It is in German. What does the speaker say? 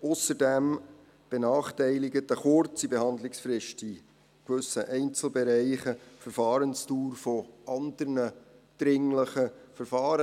Ausserdem benachteiligt eine kurze Behandlungsfrist in gewissen Einzelbereichen die Verfahrensdauer anderer dringlicher Verfahren.